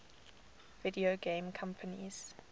video game companies